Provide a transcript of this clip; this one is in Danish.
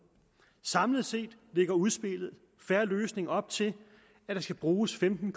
samlet set lægger udspillet en fair løsning op til at der skal bruges femten